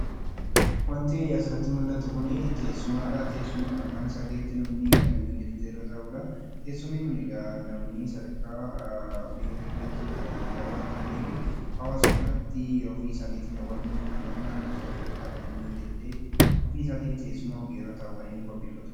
Wanti asirratti mul'atu kun teessumadha. Teessuma namni mana isaa keessatti hojjachiifatee irra taa'udha. Teessumni kun egaa namni sadarkaa biyya keenyaatti kan ammayyaa waan taaneef hawaasuma biratti ofiisaaniitii mukkeen naannoosaa jirurraa hojjatatee ofiisaatiif teessuma irra taa'u kan hojjatatudha.